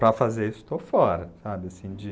Para fazer isso, estou fora. Sabe, assim de,